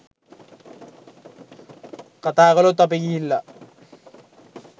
කතා කළොත් අපි ගිහිල්ලා